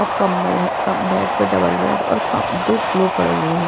कंबल है कम बेड पर डबल बेड और दो पिलो पड़े हुए हैं।